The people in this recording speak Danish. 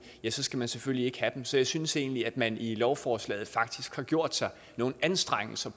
skal man selvfølgelig ikke have dem så jeg synes egentlig at man i lovforslaget faktisk har gjort sig nogle anstrengelser